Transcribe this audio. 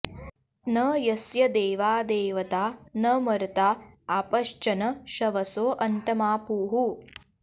न यस्य॑ दे॒वा दे॒वता॒ न मर्ता॒ आप॑श्च॒न शव॑सो॒ अन्त॑मा॒पुः